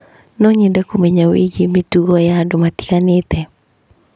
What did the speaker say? No nyende kũmenya wĩgiĩ mĩtugo ya andũ matiganĩte.